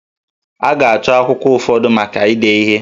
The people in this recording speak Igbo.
A ga-achọ akwụkwọ ụfọdụ maka ide ihe